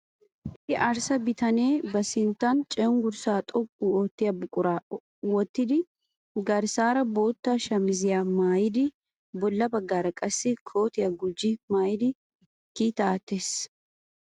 Issi arssa bitane ba sinttan cenggurssa xoqqu oottiya buquraa wottidi garssaara bootta shamiziya mayyidi bolla baggaara qassi kootiya gujji mayyidi kiitaa aattees.